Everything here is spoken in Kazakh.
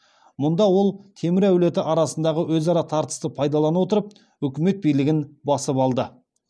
мұнда ол темір әулеті арасындағы өзара тартысты пайдалана отырып өкімет билігін басып алды